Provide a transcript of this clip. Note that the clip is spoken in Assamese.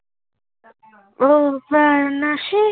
অহ ফাৰ নাচি